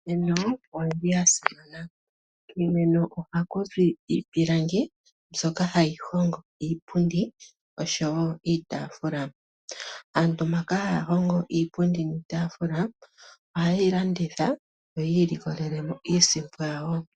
Iimeno oyili ya simana. Kiimeno ohaku zi iipilangi mbyoka hayi hogo iipundi osho woo iitaafula. Aantu mbaka haa hongo iipundi niitafula, oha yeyi landitha yo yiilikolele iisimpo yawo.